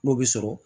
N'o bɛ sɔrɔ